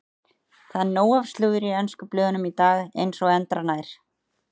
Það er nóg af slúðri í ensku blöðunum í dag eins og endranær.